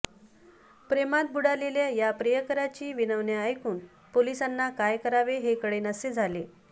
प्रेमात आकंऑ बुडालेल्या या प्रियकाराची विनवण्या ऐकून पोलिसांना काय करावे हे कळेनासे झाले